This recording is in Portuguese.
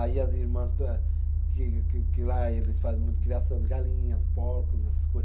Aí as irmã, que que que lá eles faz muito criação de galinhas, porcos, essas coisas.